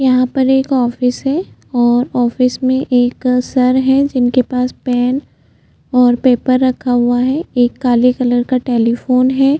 यहाँ पर एक ऑफिस है और ऑफिस मे एक सर है जिनके पास पेन और पेपर रखा हुआ है एक काले कलर का टेलिफोन है।